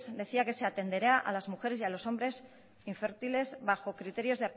decía que se atenderá a las mujeres y a los hombres infértiles bajo criterios